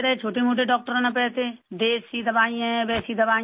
موٹے ڈاکٹروں نے تو ایسی دیسی دوائی ہے ویسی دوائی ہے